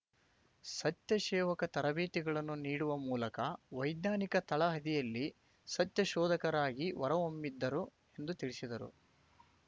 ಸತ್ಯ ಸೇವಕ ತರಬೇತಿಗಳನ್ನು ನೀಡುವ ಮೂಲಕ ವೈಜ್ಞಾನಿಕ ತಳಹದಿಯಲ್ಲಿ ಸತ್ಯ ಶೋಧಕರಾಗಿ ಹೊರಹೊಮ್ಮಿದ್ದರು ಎಂದು ತಿಳಿಸಿದರು